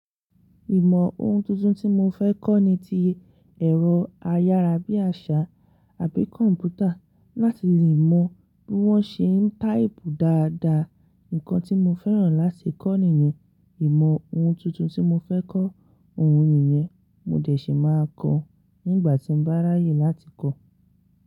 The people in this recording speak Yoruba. Ìmọ̀ ohun tuntun tí mo fẹ́ kọ́ ni ti ẹ̀rọ ayára bíi àṣá àbí kọ̀ǹpútà láti lè mọ bí wón ṣe ń táìpù dáadáa. Nǹkan tí mo fẹ́ràn láti kọ́ nìyẹn. Ìmọ̀ ohun tuntun tí mo fẹ́ kọ́, òun nìyẹn mo dẹ̀ ṣi máa kọ́ nígbà tí n bá ráayè láti kọ́